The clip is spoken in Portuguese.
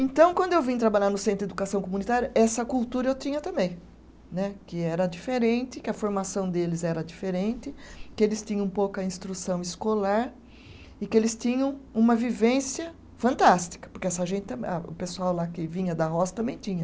Então, quando eu vim trabalhar no Centro de Educação Comunitária, essa cultura eu tinha também né, que era diferente, que a formação deles era diferente, que eles tinham pouca instrução escolar e que eles tinham uma vivência fantástica, porque o pessoal lá que vinha da roça também tinha.